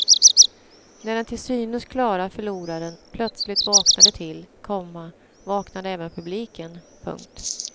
När den till synes klara förloraren plötsligt vaknade till, komma vaknade även publiken. punkt